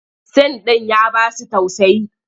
Sin ɗin ya ba su tausayi.